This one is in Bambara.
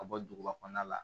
Ka bɔ duguba kɔnɔna la